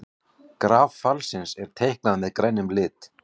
Graf fallsins er teiknað með grænum lit.